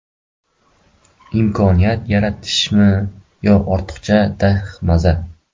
Imkoniyat yaratishmi yo ortiqchi dahmaza.